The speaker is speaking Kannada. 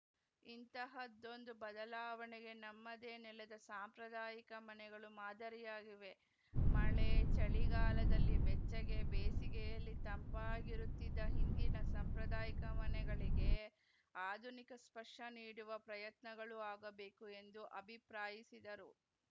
ಇಂತಹದ್ದೊಂದು ಬದಲಾವಣೆಗೆ ನಮ್ಮದೇ ನೆಲದ ಸಾಂಪ್ರದಾಯಿಕ ಮನೆಗಳು ಮಾದರಿಯಾಗಿವೆ ಮಳೆ ಚಳಿಗಾಲದಲ್ಲಿ ಬೆಚ್ಚಗೆ ಬೇಸಿಗೆಯಲ್ಲಿ ತಂಪಾಗಿರುತ್ತಿದ್ದ ಹಿಂದಿನ ಸಾಂಪ್ರದಾಯಿಕ ಮನೆಗಳಿಗೆ ಆಧುನಿಕ ಸ್ಪರ್ಶ ನೀಡುವ ಪ್ರಯತ್ನಗಳೂ ಆಗಬೇಕು ಎಂದು ಅಭಿಪ್ರಾಯಿಸಿದರು